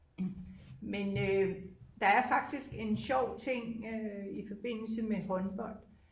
men der er faktisk en sjov ting i frbindelse med håndbold